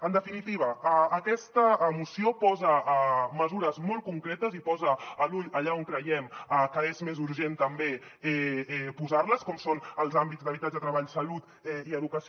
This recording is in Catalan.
en definitiva aquesta moció posa mesures molt concretes i posa l’ull allà on creiem que és més urgent també posar les com són els àmbits d’habitatge treball salut i educació